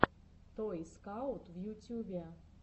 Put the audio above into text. той скаут в ютюбе